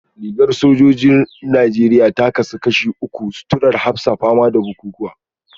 Rigar sojojin Najeriya ta kasu zuwa uku; suturar hafsa, fama da bukukuwa